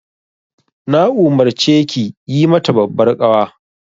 Na umarce ki yi mata babbar ƙawa.